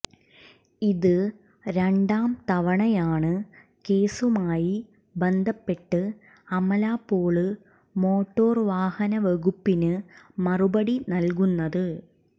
ഇത് രണ്ടാം തവണയാണ് കേസുമായി ബന്ധപ്പെട്ട് അമലപോള് മോട്ടോര്വാഹന വകുപ്പിന് മറുപടി നല്കുന്നത്